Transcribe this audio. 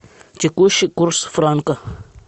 текущий курс франка